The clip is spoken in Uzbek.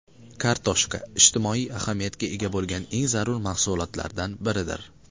Kartoshka –ijtimoiy ahamiyatga ega bo‘lgan eng zarur mahsulotlardan biridir.